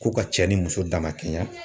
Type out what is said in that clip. Ko ka cɛ ni muso damakɛɲɛ